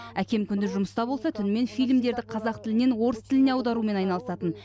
әкем күндіз жұмыста болса түнімен фильмдерді қазақ тілінен орыс тіліне аударумен айналысатын